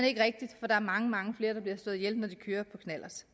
ikke rigtigt for der er mange mange flere der bliver slået ihjel når de kører på knallert